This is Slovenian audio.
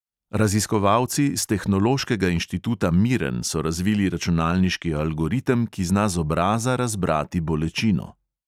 Raziskovalci s tehnološkega inštituta miren so razvili računalniški algoritem, ki zna z obraza razbrati bolečino.